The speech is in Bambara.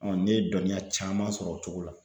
ne ye dɔnniya caman sɔrɔ o cogo la.